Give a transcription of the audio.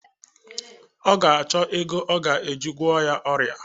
Ọ ga achọ ego a ga-eji gwo ya ọrịa